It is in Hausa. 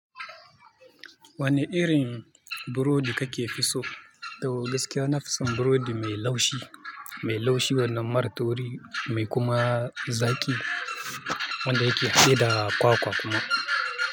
Wane irin burodi kake fi so? Tau gaskiya na fi son burodi mai laushi, mai laushi wannan marar tauri mai kuma zaƙi wanda yake haɗe da kwakwa kuma.